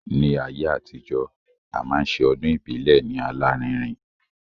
Ní ayé àtijọ́, a máa ṣe ọdún ìbílẹ̀ ní alárinrin